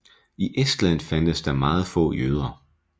I Estland fandtes der meget få jøder